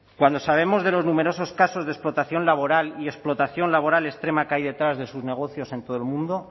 cuando sabemos de los numerosos casos de explotación laboral y explotación laboral extrema que hay detrás de sus negocios en todo el mundo